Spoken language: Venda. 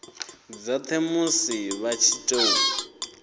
dzothe musi vha tshi tou